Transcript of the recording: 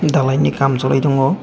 dalai ni kam choli tongo.